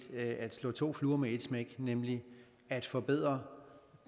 at slå to fluer med et smæk nemlig at forbedre